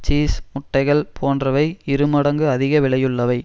cheese முட்டைகள் போன்றவை இரு மடங்கு அதிக விலையுள்ளவை